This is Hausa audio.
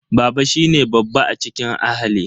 Baba shine babba a cikin ahali.